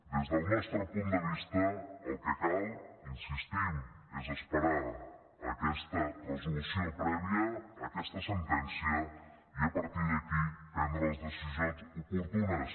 des del nostre punt de vista el que cal hi insistim és esperar aquesta resolució prèvia aquesta sentència i a partir d’aquí prendre les decisions oportunes